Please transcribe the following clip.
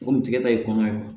Komi tigɛta ye kɔnɔ ye